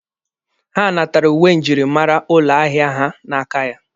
Ha natara uwe njirimara ụlọ ahịa ha n'aka ya.